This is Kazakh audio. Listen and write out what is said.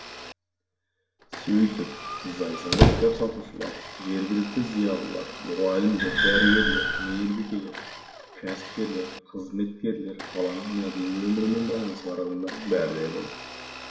сөйтіп зайсанда кітап сатушылар жергілікті зиялылар мұғалімдер дәрігерлер мейірбикелер кәсіпкерлер қызметкерлер қаланың мәдени өмірімен байланысы бар адамдардың бәрі де болды